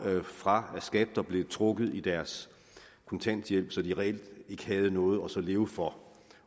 fra skat og blev trukket i deres kontanthjælp så de reelt ikke havde noget at leve for